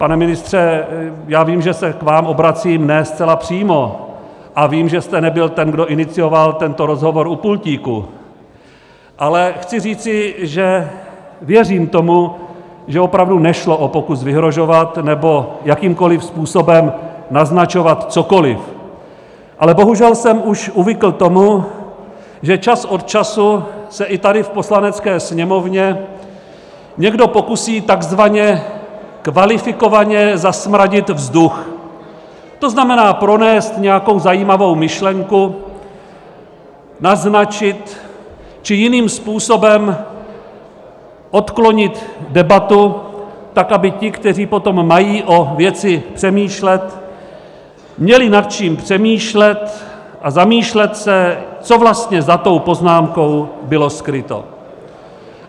... pane ministře, já vím, že se k vám obracím ne zcela přímo a vím, že jste nebyl ten, kdo inicioval tento rozhovor u pultíku, ale chci říci, že věřím tomu, že opravdu nešlo o pokus vyhrožovat nebo jakýmkoliv způsobem naznačovat cokoliv, ale bohužel jsem už uvykl tomu, že čas od času se i tady v Poslanecké sněmovně někdo pokusí takzvaně kvalifikovaně zasmradit vzduch, to znamená, pronést nějakou zajímavou myšlenku, naznačit či jiným způsobem odklonit debatu tak, aby ti, kteří potom mají o věci přemýšlet, měli nad čím přemýšlet a zamýšlet se, co vlastně za tou poznámkou bylo skryto.